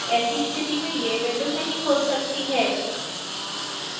ऐसी स्थिति में यह विंडो नहीं खुल सकती है